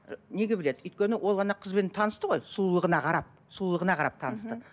неге біледі өйткені ол қызбен танысты ғой сұлулығына қарап сұлулығына қарап танысты